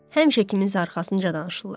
Həmişə kiminsə arxasınca danışırlar.